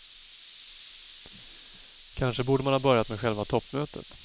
Kanske borde man ha börjat med själva toppmötet.